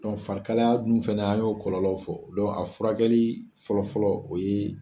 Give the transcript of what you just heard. farikalaya dun fɛnɛ a y'o kɔlɔlɔ fɔ, a furakɛli fɔlɔfɔlɔ o ye.